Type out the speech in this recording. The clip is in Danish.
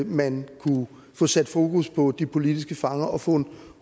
man kunne få sat fokus på de politiske fanger og få en